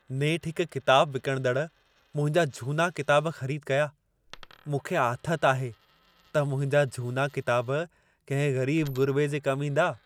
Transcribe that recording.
नेठ हिक किताब विकणंदड़ मुंहिंजा झूना किताब ख़रीद कया। मूंखे आथत आहे त मुंहिंजा झूना किताब कंहिं ग़रीब-ग़ुरिबे जे कम ईंदा।